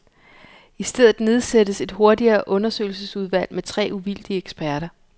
I stedet nedsættes et hurtigere undersøgelsesudvalg med tre uvildige eksperter.